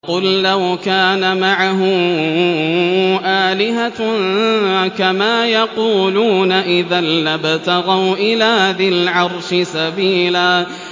قُل لَّوْ كَانَ مَعَهُ آلِهَةٌ كَمَا يَقُولُونَ إِذًا لَّابْتَغَوْا إِلَىٰ ذِي الْعَرْشِ سَبِيلًا